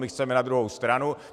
My chceme na druhou stranu!